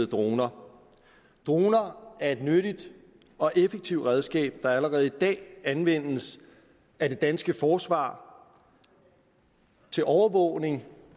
droner droner er et nyttigt og effektivt redskab der allerede i dag anvendes af det danske forsvar til overvågning